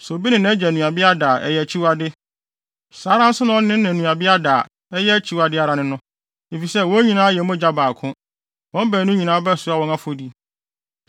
“ ‘Sɛ obi ne nʼagya nuabea da a, ɛyɛ akyiwade. Saa ara nso na ɔne ne na nuabea da a, ɛyɛ akyiwade ara ne no, efisɛ, wɔn nyinaa yɛ mogya baako. Wɔn baanu nyinaa bɛsoa wɔn afɔdi.